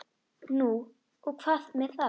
Nú og hvað með það?